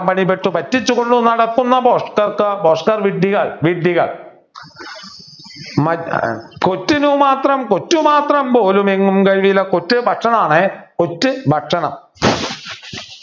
പണിപ്പെട്ടു പറ്റിച്ചു കൊണ്ട് നടക്കുന്ന ഭോഷ്‌ഠർക്ക് ഭോഷ്ഠർ വിഡ്ഢികൾ വിഡ്ഢികൾ കൊറ്റിനു മാത്രം കൊറ്റു മാത്രം പോലുമെങ്ങുംകഴില കൊറ്റു ഭക്ഷണം ആണേ കൊറ്റു ഭക്ഷണം